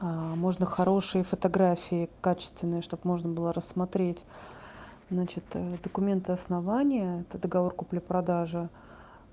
а можно хорошие фотографии качественные чтоб можно было рассмотреть значит документы основания это договор купли-продажи